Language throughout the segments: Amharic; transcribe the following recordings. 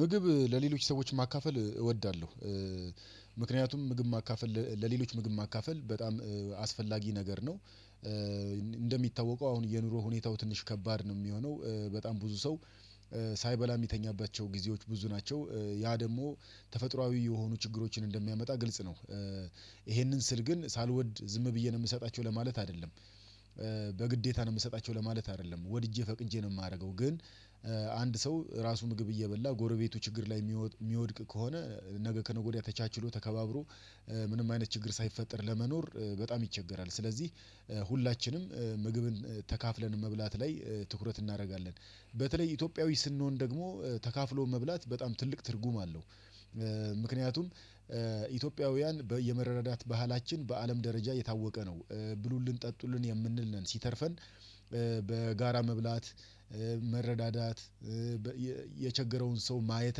ምግብ ለሌሎች ሰዎች ማካፈል እወዳለሁ። ምክንያቱም ምግብ ማካፈል ለሌሎች ምግብ ማካፈል በጣም አስፈላጊ ነገር ነው። እንደሚታወቀው አሁን የኑሮ ሁኔታው ትንሽ ከባድ ነው የሚሆነው በጣም ብዙ ሰው ሳይበላ የሚተኛባቸው ጊዜዎች ብዙ ናቸው። ያ ደግሞ ተፈጥሮአዊ የሆኑ ችግሮችን እንደሚያመጣ ግልጽ ነው። ይሄንን ስል ግን ሳልወድ ዝም ብዬ ነው የምሰጣቸው ለማለት አይደለም። በግዴታ ነው የምሰጣቸው ለማለት አይደለም ወድጄ ፈቅጄ ነው የማደርገው ግን። አንድ ሰው ራሱ ምግብ እየበላ ጎረቤቱ ችግር ላይ የሚወድቅ ከሆነ ነገ ከነገ ወዲያ ተቻችሎ ተከባብሮ ምንም አይነት ችግር ሳይፈጠር ለመኖር በጣም ይቸገራል። ስለዚህ ሁላችንም ምግብን ተካፍለን መብላት ላይ ትኩረት እናደርጋለን። በተለይ ኢትዮጵያዊ ስንሆን ደግሞ ተካፍሎ መብላት በጣም ትልቅ ትርጉም አለው። ምክንያቱም ኢትዮጵያውያን የመረዳዳት ባህላችን በአለም ደረጃ የታወቀ ነው ብሉልን ጠጡልን የምንል ነን። ሲተርፈን በጋራ መብላት መረዳዳት የቸገረውን ሰው ማየት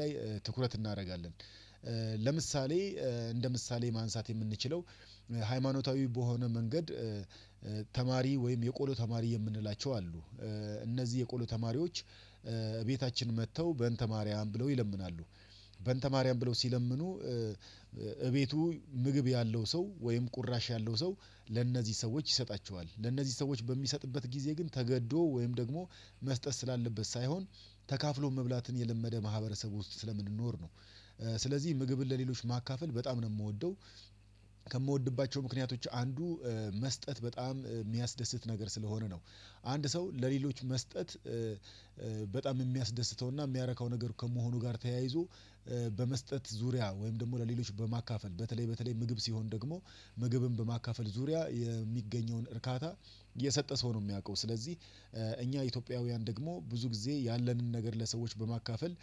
ላይ ትኩረት እናደርጋለን። ለምሳሌ እንደ ምሳሌ ማንሳት የምንችለው ሃይማኖታዊ በሆነ መንገድ። ተማሪ ወይም የቆሎ ተማሪ የምንላቸው አሉ። እነዚህ የቆሎ ተማሪዎች እቤታችን መጥተው በእንተ ማርያም ብለው ይለምናሉ። በእንተ ማርያም ብለው ሲለምኑ እቤቱ ምግብ ያለው ሰው ወይም ቁራሽ ያለው ሰው ለእነዚህ ሰዎች ይሰጣቸዋል። ለእነዚህ ሰዎች በሚሰጥበት ጊዜ ግን ተገዶ ወይም ደግሞ መስጠት ስላለበት ሳይሆን ተካፍሎ መብላትን የለመደ ማህበረሰቡ ውስጥ ስለምንኖር ነው። ስለዚህ ምግብን ለሌሎች ማካፈል በጣም ነው የምወደው። ከምወድባቸው ምክንያቶች አንዱ መስጠት በጣም የሚያስደስት ነገር ስለሆነ ነው። አንድ ሰው ለሌሎች መስጠት በጣም የሚያስደስተውና የሚያረካው ነገር ከመሆኑ ጋር ተያይዞ። በመስጠት ዙሪያ ወይም ደግሞ ለሌሎች በማካፈል በተለይ በተለይ ምግብ ሲሆን ደግሞ ምግብን በማካፈል ዙሪያ የሚገኘውን እርካታ የሰጠ ሰው ነው የሚያውቀው ስለዚህ። እኛ ኢትዮጵያውያን ደግሞ ብዙ ጊዜ ያለንን ነገር ለሰዎች በማካፈል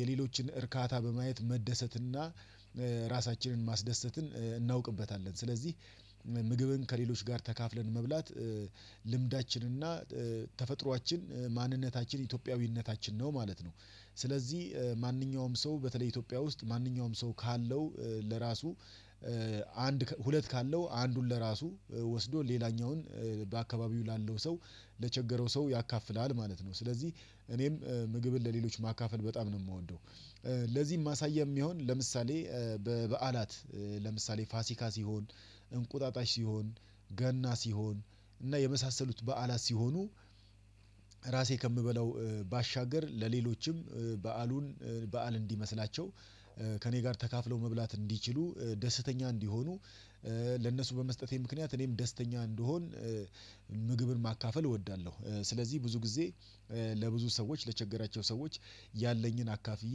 የሌሎችን እርካታ በማየት መደሰትና ራሳችንን ማስደሰትን እናውቅበታለን። ስለዚህ ምግብን ከሌሎች ጋር ተካፍለን መብላት ልምዳችንና ተፈጥሮአችን ማንነታችን ኢትዮጵያዊነታችን ነው ማለት ነው። ስለዚህ ማንኛውም ሰው በተለይ ኢትዮጵያ ውስጥ ማንኛውም ሰው ካለው ለራሱ ሁለት ካለው አንዱን ለራሱ ወስዶ ሌላኛውን በአካባቢው ላለው ሰው ለቸገረው ሰው ያካፍላል ማለት ነው። ስለዚህ እኔም ምግብን ለሌሎች ማካፈል በጣም ነው የምወደው። ለዚህ ማሳያም ይሁን ለምሳሌ በበዓላት ለምሳሌ ፋሲካ ሲሆን እንቁጣጣሽ ሲሆን ገና ሲሆን እና የመሳሰሉት በዓላት ሲሆኑ ራሴ ከምበላው ባሻገር ለሌሎችም በዓሉን በዓል እንዲመስላቸው ከእኔ ጋር ተካፍለው መብላት እንዲችሉ ደስተኛ እንዲሆኑ ለነሱ በመስጠቴ ምክንያት እኔም ደስተኛ እንድሆን። ምግብን ማካፈል እወዳለሁ ስለዚህ ብዙ ጊዜ ለብዙ ሰዎች ለቸገራቸው ሰዎች ያለኝን አካፍዬ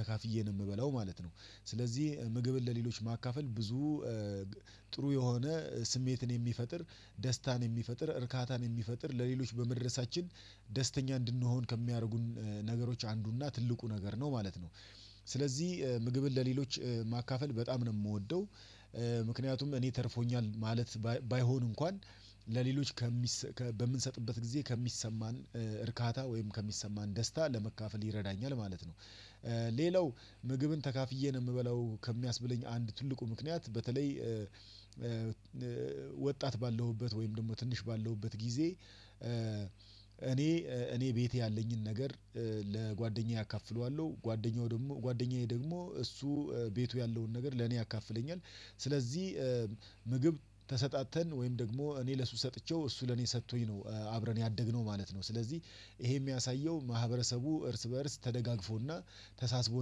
ተካፍዬ ነው የምበላው ማለት ነው። ስለዚህ ምግብን ለሌሎች ማካፈል ብዙ ጥሩ የሆነ ስሜትን የሚፈጥር ደስታን የሚፈጥር እርካታን የሚፈጥር ለሌሎች በመድረሳችን ደስተኛ እንድንሆን ከሚያደርጉን ነገሮች አንዱና ትልቁ ነገር ነው ማለት ነው። ስለዚህ ምግብን ለሌሎች ማካፈል በጣም ነው የምወደው። ምክንያቱም እኔ ተርፎኛል ማለት ባይሆን እንኳን ለሌሎች ከምንሰጥበት ጊዜ ከሚሰማን እርካታ ወይም ከሚሰማን ደስታ ለመካፈል ይረዳኛል ማለት ነው። ሌላው ምግብን ተካፍዬ ነው የምበለው ከሚያስብለኝ አንድ ትልቁ ምክንያት በተለይ ወጣት ባለሁበት ወይም ደግሞ ትንሽ ባለሁበት ጊዜ እኔ እኔ ቤቴ ያለኝን ነገር ለጓደኛዬ አካፍለዋለሁ ጓደኛው ደግሞ ጓደኛዬ ደግሞ እሱ ቤቱ ያለውን ነገር ለኔ ያካፍለኛል። ስለዚህ ምግብ ተሰጣጥተን ወይም ደግሞ እኔ ለሱ ሰጥቼው እሱ ለኔ ሰጥቶኝ ነው አብረን ያደግነው ማለት ነው። ስለዚህ ይሄ የሚያሳየው ማህበረሰቡ እርስ በእርስ ተደጋግፎና ተሳስቦ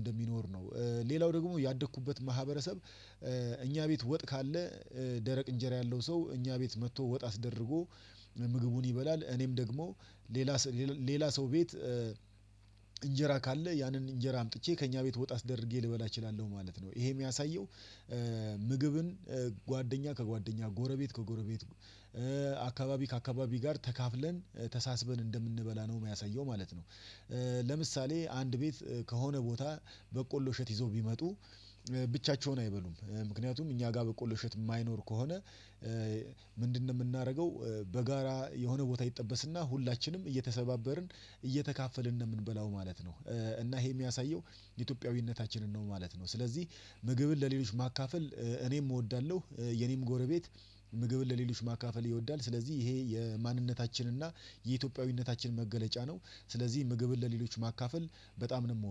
እንደሚኖር ነው። ሌላው ደግሞ ያደኩበት ማህበረሰብ። እኛ ቤት ወጥ ካለ ደረቅ እንጀራ ያለው ሰው እኛ ቤት መጥቶ ወጥ አስደርጎ ምግቡን ይበላል። እኔም ደግሞ ሌላ ሰው ቤት እንጀራ ካለ ያንን እንጀራ አምጥቼ ከእኛ ቤት ወጥ አስደርጌ ልበላ እችላለሁ ማለት ነው። ይሄ የሚያሳየው ምግብን ጓደኛ ከጓደኛ ጎረቤት ከጎረቤት አካባቢ ከአካባቢ ጋር ተካፍለን ተሳስበን እንደምንበላ ነው የሚያሳየው ማለት ነው። ለምሳሌ አንድ ቤት ከሆነ ቦታ በቆሎ እሸት ይዞ ቢመጡ። ብቻቸውን አይበሉም ምክንያቱም እኛ ጋር በቆሎ እሸት የማይኖር ከሆነ። ምንድነው? የምናደርገው በጋራ የሆነ ቦታ ይጠበስና ሁላችንም እይሰባበርን እየተካፈልን ነው የምንበላው ማለት ነው። እና ይሄ የሚያሳየው ኢትዮጵያዊነታችንን ነው ማለት ነው። ስለዚህ ምግብን ለሌሎች ማካፈል እኔም እወዳለሁ የኔም ጎረቤት ምግብን ለሌሎች ማካፈል ይወዳል ስለዚህ ይሄ የማንነታችን እና የኢትዮጵያዊነታችን መገለጫ ነው። ስለዚህ ምግብን ለሌሎች ማካፈል በጣም ነው የምወደው